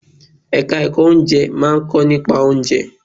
Ẹ̀ka ẹ̀kọ́ Oúnjẹ máà ń kọ́ nípa oúnjẹ.